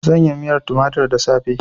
Zan yi miyar tumatir da safe.